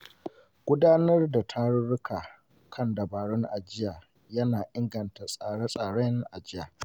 Gudanar da tarurruka kan dabarun ajiya ya na inganta tsare-tsaren ajiya.